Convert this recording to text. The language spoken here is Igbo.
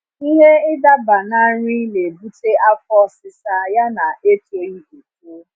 ịhe idaba na nri na ebute afọ ọsisa ya na etoghi eto